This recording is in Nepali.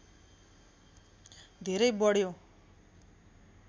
धेरै बढ्यो